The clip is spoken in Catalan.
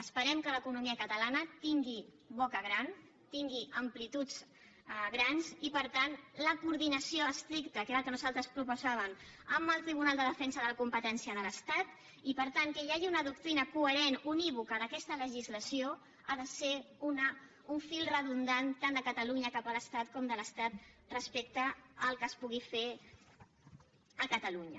esperem que l’economia catalana tingui boca gran tingui amplituds grans i per tant la coordinació estricta que era el que nosaltres proposàvem amb el tribunal de defensa de la competència de l’estat i per tant que hi hagi una doctrina coherent unívoca d’aquesta legislació ha de ser un fil que redundi tant de catalunya cap a l’estat com de l’estat respecte al que es pugui fer a catalunya